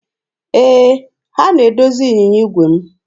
Ee, ha na-edozi ịnyịnya igwe m.